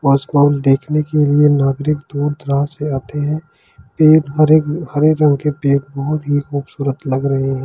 देखने के लिए नागरिक दूर द्रास से आते हैं एक हरे हरे रंग के बहुत ही खूबसूरत लग रहे हैं।